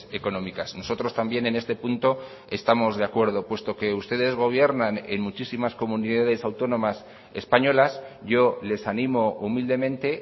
económicas nosotros también en este punto estamos de acuerdo puesto que ustedes gobiernan en muchísimas comunidades autónomas españolas yo les animo humildemente